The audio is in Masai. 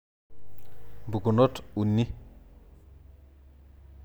Mpukunot uni?